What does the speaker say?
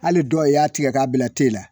Hali dɔ a i y'a tigɛ k'a bila te la